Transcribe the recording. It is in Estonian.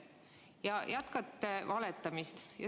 Ja te jätkate valetamist.